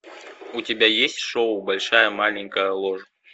у тебя есть шоу большая маленькая ложь